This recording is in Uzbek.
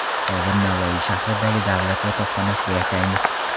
Hozir Navoiy shahridagi davlat yotoqxonasida yashaymiz.